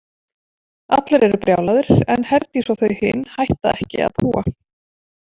Allir eru brjálaðir en Herdís og þau hin hætta ekki að púa.